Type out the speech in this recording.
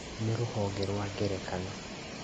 Nĩ rũhonge rwa ngerekano